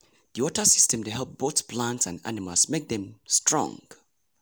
the water system dey help both plants and animals make dem strong